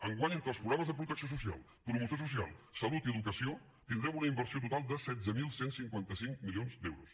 enguany entre els programes de protecció social promoció social salut i educació tindrem una inversió total de setze mil cent i cinquanta cinc milions d’euros